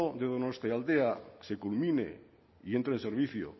de donostialdea se culmine y entre en servicio